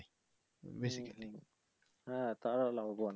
হ্যা তারাও লাভবান।